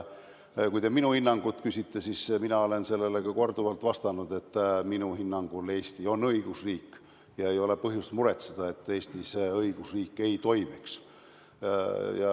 Kui te minu hinnangut küsite, siis mina olen korduvalt vastanud, et minu hinnangul on Eesti õigusriik ja ei ole põhjust muretseda, nagu Eestis õigusriik ei toimiks.